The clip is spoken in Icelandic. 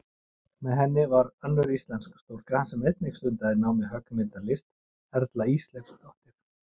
Með henni var önnur íslensk stúlka sem einnig stundaði nám í höggmyndalist, Erla Ísleifsdóttir.